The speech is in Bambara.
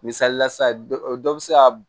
Misalila sisan dɔ bi se ka